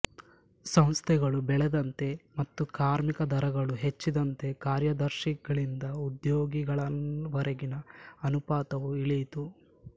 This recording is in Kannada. ಸಂಸ್ಥೆಗಳು ಬೆಳೆದಂತೆ ಮತ್ತು ಕಾರ್ಮಿಕ ದರಗಳು ಹೆಚ್ಚಿದಂತೆ ಕಾರ್ಯದರ್ಶಿಗಳಿಂದ ಉದ್ಯೋಗಿಗಳವರೆಗಿನ ಅನುಪಾತವು ಇಳಿಯಿತು